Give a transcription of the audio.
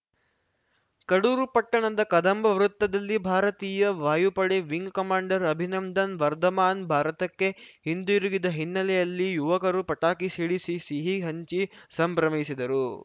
ಕಡೂರು ಪಟ್ಟಣದ ಕದಂಬ ವೃತ್ತದಲ್ಲಿ ಭಾರತೀಯ ವಾಯುಪಡೆ ವಿಂಗ್‌ ಕಮಾಂಡರ್‌ ಅಭಿನಂದನ್‌ ವರ್ಧಮಾನ್‌ ಭಾರತಕ್ಕೆ ಹಿಂದುರುಗಿದ ಹಿನ್ನೆಲೆಯಲ್ಲಿ ಯುವಕರು ಪಟಾಕಿ ಸಿಡಿಸಿ ಸಿಹಿ ಹಂಚಿ ಸಂಭ್ರಮಿಸಿದರು